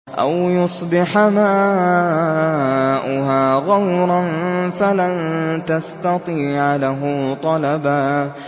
أَوْ يُصْبِحَ مَاؤُهَا غَوْرًا فَلَن تَسْتَطِيعَ لَهُ طَلَبًا